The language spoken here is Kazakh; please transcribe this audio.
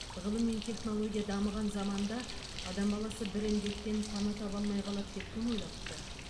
ғылым мен технология дамыған заманда адам баласы бір індеттен пана таба алмай қалады деп кім ойлапты